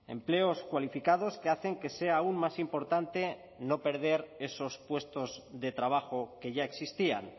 empleos cualificados que hacen que sea aún más importante no perder esos puestos de trabajo que ya existían